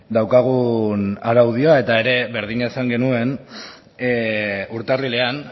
daukagun araudia eta ere berdina esan genuen urtarrilean